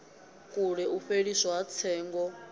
kule u fheliswa ha tsengo